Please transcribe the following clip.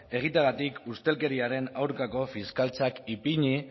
egiteagatik ustelkeriaren aurkako fiskaltzak ipini